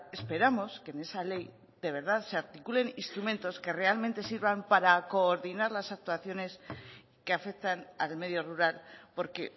esperamos que en esa ley de verdad se articulen instrumentos que realmente sirvan para coordinar las actuaciones que afectan al medio rural porque